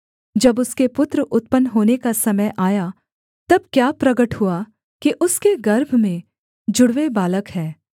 जब उसके पुत्र उत्पन्न होने का समय आया तब क्या प्रगट हुआ कि उसके गर्भ में जुड़वे बालक हैं